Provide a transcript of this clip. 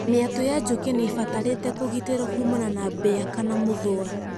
Mĩatũ ya njũkĩ nĩ ibatarĩte kũgĩtĩrwo kuumana na mbĩa kana mũthũa.